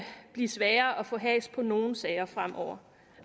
blive sværere at få has på nogle sager fremover